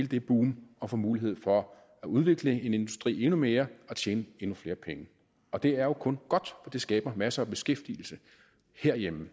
det boom og får mulighed for at udvikle en industri endnu mere og tjene endnu flere penge det er jo kun godt det skaber masser af beskæftigelse herhjemme